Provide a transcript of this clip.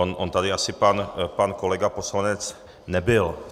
On tady asi pan kolega poslanec nebyl.